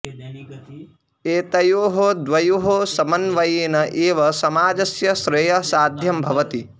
एतयोः द्वयोः समन्वयेन एव समाजस्य श्रेयः साध्यं भवति